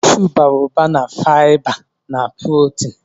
Kashụụ bara ụba na fiba na prọtin.